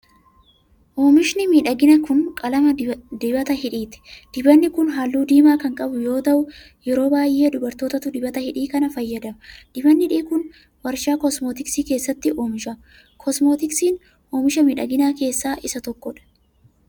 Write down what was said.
Oomishni miidhaginaa kun, qalama dibata hidhiiti. Dibatni kun, haalluu diimaa kan qabu yoo ta'u, yeroo baay'ee dubartootatu dibata hidhii kana fayyadama. Dibatni hidhii kun, warshaa kosmootiksii keessatti oomisham. Kosmootiksiin, oomisha miidhaginaa keessaa isa tokko dha.